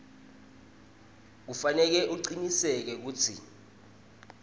kufanele acinisekise kutsi